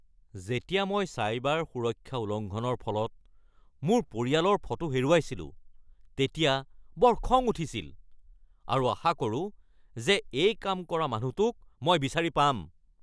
যেতিয়া মই চাইবাৰ সুৰক্ষা উলংঘনৰ ফলত মোৰ পৰিয়ালৰ ফটো হেৰুৱাইছিলো তেতিয়া বৰ খং উঠিছিল আৰু আশা কৰোঁ যে এই কাম কৰা মানুহটোক মই বিচাৰি পাম।